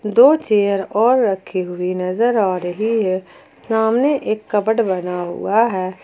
दो चेयर और रखे हुए नजर आ रही है सामने एक कपबोर्ड बना हुआ है।